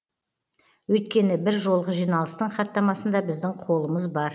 өйткені бір жолғы жиналыстың хаттамасында біздің қолымыз бар